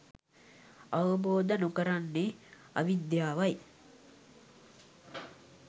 අවබෝධ නොකරන්නේ අවිද්‍යාවයි.